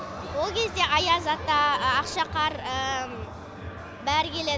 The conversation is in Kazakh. ол кезде аяз ата ақшақар бәрі келеді